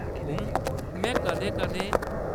उम्म, मैं कदें-कदें ।